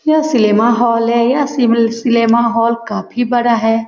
यह सिलेम हॉल है यह सिल सिलेम हॉल काफी बड़ा है।